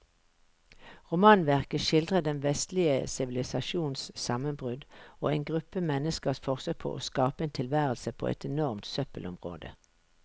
Romanverket skildrer den vestlige sivilisasjons sammenbrudd og en gruppe menneskers forsøk på å skape en tilværelse på et enormt søppelområde.